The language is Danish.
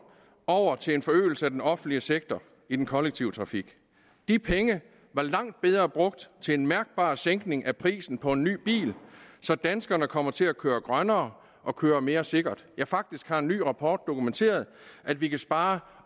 over til en forøgelse af den offentlige sektor i den kollektive trafik de penge var langt bedre brugt til en mærkbar sænkning af prisen på en ny bil så danskerne kommer til at køre grønnere og køre mere sikkert faktisk har en ny rapport dokumenteret at vi kan spare